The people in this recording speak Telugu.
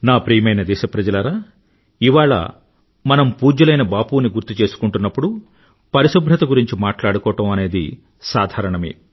నా ప్రియమైన దేశప్రజలారా ఇవాళ మనం పూజ్యులైన బాపుని గుర్తు చేసుకుంటున్నప్పుడు పరిశుభ్రత గురించి మాట్లాడుకోవడం అనేది సాధారణమే